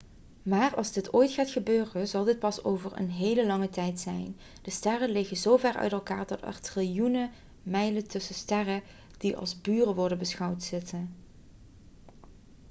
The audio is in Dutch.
maar als dit ooit gaat gebeuren zal dit pas over een hele lang tijd zijn de sterren liggen zover uit elkaar dat er triljoenen mijlen tussen sterren die als buren' worden beschouwd zitten